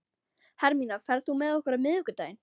Hermína, ferð þú með okkur á miðvikudaginn?